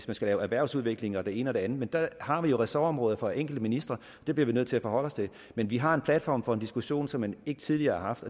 man skal lave erhvervsudvikling og det ene og det andet men der har vi jo ressortområder for de enkelte ministre og det bliver vi nødt til at forholde os til men vi har en platform for en diskussion som man ikke tidligere har haft